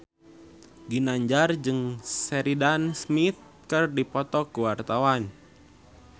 Ginanjar jeung Sheridan Smith keur dipoto ku wartawan